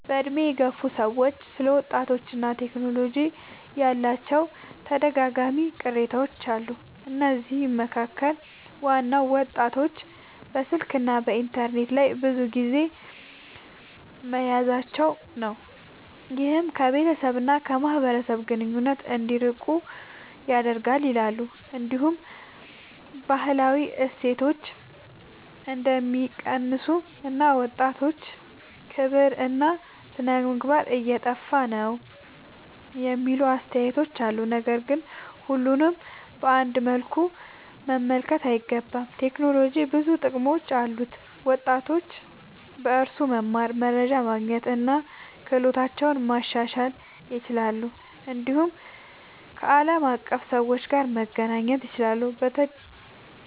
በዕድሜ የገፉ ሰዎች ስለ ወጣቶችና ቴክኖሎጂ ያላቸው ተደጋጋሚ ቅሬታዎች አሉ። ከነዚህ መካከል ዋናው ወጣቶች በስልክና በኢንተርኔት ላይ ብዙ ጊዜ መያዛቸው ነው፤ ይህም ከቤተሰብ እና ከማህበራዊ ግንኙነት እንዲርቁ ያደርጋል ይላሉ። እንዲሁም ባህላዊ እሴቶች እንደሚቀንሱ እና ወጣቶች ክብርና ሥነ-ምግባር እየጠፋ ነው የሚሉ አስተያየቶች አሉ። ነገር ግን ሁሉንም በአንድ መልኩ መመልከት አይገባም። ቴክኖሎጂ ብዙ ጥቅሞች አሉት፤ ወጣቶች በእርሱ መማር፣ መረጃ ማግኘት እና ክህሎታቸውን ማሻሻል ይችላሉ። እንዲሁም ከዓለም አቀፍ ሰዎች ጋር መገናኘት ይችላሉ።